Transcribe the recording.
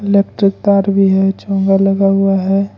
Electric तार भी है चोंगा लगा हुआ है।